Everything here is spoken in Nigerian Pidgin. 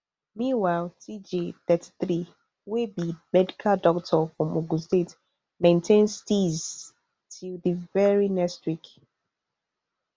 meanwhile tjay thirty-three wey be medical doctor from ogun state maintain steeze till di very next week